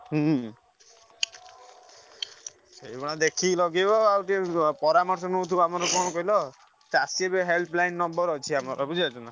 ହୁଁ ସେଇଭଳିଆ ଦେଖିକି ଲଗେଇବା ଆଉ ଟିକେ ପରାମର୍ଶ ନଉଥିବ କଣ କହିଲ ଚାଷୀ ବି helpline number ଅଛି ବୁଝିପାରୁଛ ନା।